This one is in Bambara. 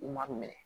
U ma minɛ